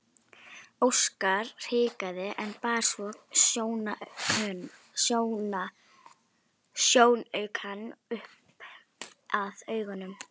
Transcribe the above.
Óskar hikaði en bar svo sjónaukann upp að augunum.